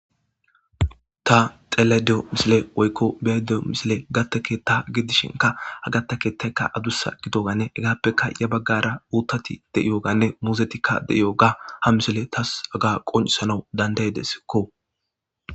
ta xeellido misile woykko be'ido misile gatta keeththa gidishinka ha gatta keettaykka adussa gidoganne hegaappeka ya baggara uttati de'iyoganne muzetikka de'yoga ha misile tas haga qoncissanaw dandaydeskko.